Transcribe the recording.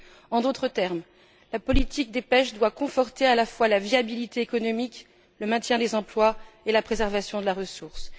En d'autres termes, la politique des pêches doit conforter à la fois la viabilité économique, le maintien des emplois et la préservation des ressources.